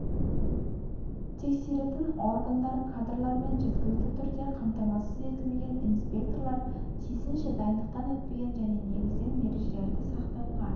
тексеретін органдар кадрлармен жеткілікті түрде қамтамасыз етілмеген инспекторлар тиісінше дайындықтан өтпеген және негізінен ережелерді сақтауға